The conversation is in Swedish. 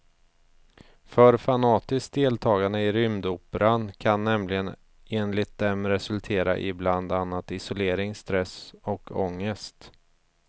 För fanatiskt deltagande i rymdoperan kan nämligen enligt dem resultera i bland annat isolering, stress och ångest.